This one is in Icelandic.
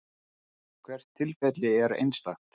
Hvert tilfelli er einstakt.